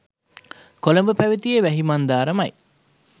කොළඹ පැවැතියේ වැහි මන්දාරමයි.